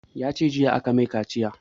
Ya ce jiya aka mai kaciya